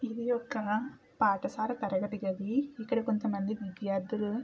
ఇది ఒక పాఠశాల తరగతి గది.ఇక్కడ కొంతమంది విద్యార్థులు--